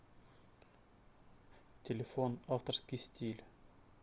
телефон авторский стиль